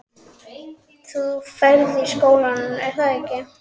Þú ferð í skólann, er að ekki?